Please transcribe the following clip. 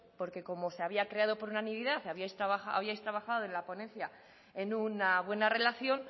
porque como se había creado por unanimidad y habíais trabajado en una ponencia en una buena relación